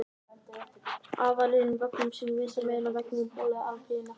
Aðallinn ók vögnum sínum vinstra megin á vegunum og bolaði alþýðunni út á hægri kantinn.